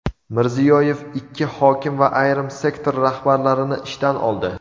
Mirziyoyev ikki hokim va ayrim sektor rahbarlarini ishdan oldi.